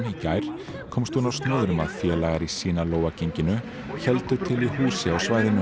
í gær komst hún á snoðir um að félagar í genginu héldu til í húsi á svæðinu